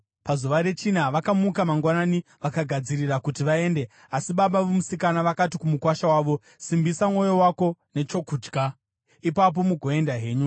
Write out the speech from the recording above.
Pazuva rechina vakamuka mangwanani vakagadzirira kuti vaende, asi baba vomusikana vakati kumukuwasha wavo, “Simbisa mwoyo wako nechokudya; ipapo mugoenda henyu.”